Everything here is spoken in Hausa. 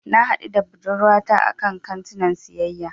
Na haɗu da budurwata a kantinan siyayya.